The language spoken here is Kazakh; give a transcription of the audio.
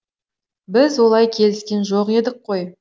біз олай келіскен жоқ едік қой